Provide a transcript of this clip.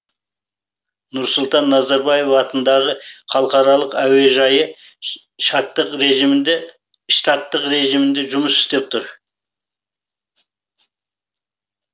нұрсұлтан назарбаев атындағы халықаралық әуежайы штаттық режімде жұмыс істеп тұр